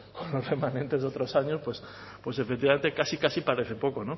comparando con los remanentes de otros años pues efectivamente casi casi parece